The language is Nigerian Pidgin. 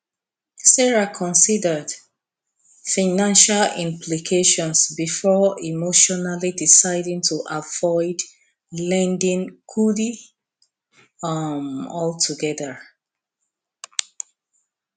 sarah considered financial implications before emotionally deciding to avoid lending kudi um altogether